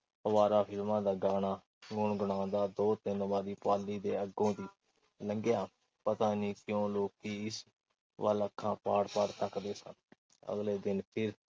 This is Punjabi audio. ਅਵਾਰਾ ਫਿਲਮਾਂ ਦਾ ਗਾਣਾ ਗੁਣ-ਗੁਣਾਉਂਦਾ ਦੋ-ਤਿੰਨ ਵਾਰੀ ਪਾਲੀ ਦੇ ਅੱਗੋਂ ਦੀ ਲੰਘਿਆ। ਪਤਾ ਨਹੀਂ ਕਿਉਂ ਲੋਕੀਂ ਉਸ ਵੱਲ ਅੱਖਾਂ ਪਾੜ-ਪਾੜ ਤੱਕਦੇ ਸਨ। ਅਗਲੇ ਦਿਨ ਫਿਰ